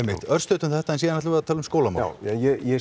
örstutt um þetta en síðan ætlum við að tala um skólamál ég